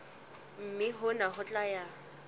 mme hona ho tla ya